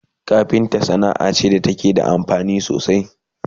kafinta Sanaa ce da take da amfani sosai